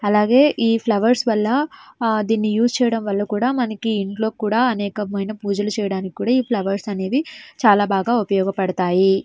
అలాగే ఈ ఫ్లవర్స్ వల్ల ఆ దీని యూస్ చేయడం వల్ల కూడా ఇంట్లో కూడా మనకి ఇంట్లో కూడా అనేకమైన పూజలు చేయడానికి ఈ ఫ్లవర్స్ అనేవి చాలా బాగా ఉపయోగపడతాయి.